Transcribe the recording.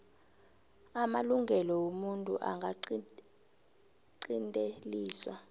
amalungelo womuntu angaqinteliswa